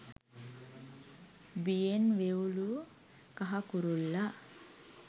බියෙන් වෙව්ලූ කහකුරුල්ලා